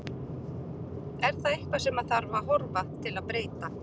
Er það eitthvað sem að þarf að horfa til að breyta?